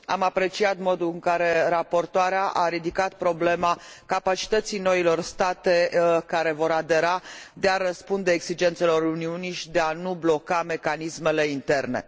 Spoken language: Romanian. Am apreciat modul în care raportoarea a ridicat problema capacității noilor state care vor adera de a răspunde exigențelor Uniunii și de a nu bloca mecanismele interne.